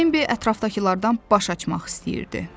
Bembi ətrafdakılardan baş açmaq istəyirdi.